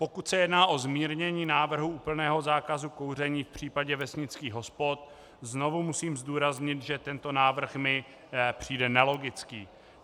Pokud se jedná o zmírnění návrhu úplného zákazu kouření v případě vesnických hospod, znovu musím zdůraznit, že tento návrh mi přijde nelogický.